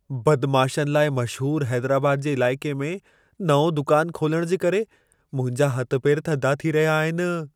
बदमाशनि लाइ मशहूरु हैदराबाद जे इलाइक़े में नओं दुकानु खोलण जे करे, मुंहिंजा हथ पेर थधा थी रहिया आहिनि।